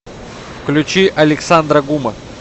включи александра гума